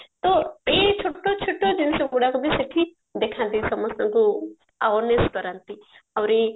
ତ ଏଇ ଛୋଟ ଛୋଟ ଜିନିଷ ଗୁଡାକ ବି ସେଠି ଦେଖାନ୍ତି ସମସ୍ତଙ୍କୁ awareness କରାନ୍ତି ଆହୁରି